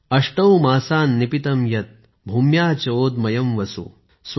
अष्टौ मासान् निपीतं यद् भूम्याः च ओदमयम् वसु ।